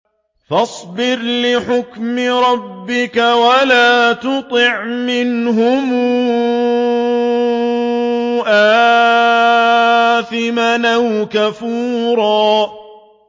فَاصْبِرْ لِحُكْمِ رَبِّكَ وَلَا تُطِعْ مِنْهُمْ آثِمًا أَوْ كَفُورًا